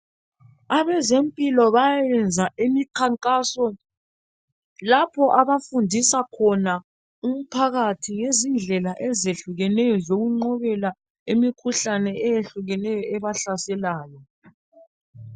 Abezempilo bayayenza imikhankaso lapha abafundisa khona umphakathi ngendlela ezehlukeneyo zokunqobela imikhuhlane eminengi ebahlaselayo.